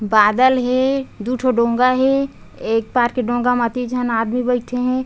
बादल हे दू ठो डोंगा हे एक पार के डोंगा म अति झन आदमी बइठे हे।